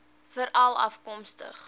veralafkomstig